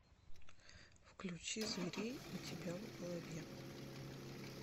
включи зверей у тебя в голове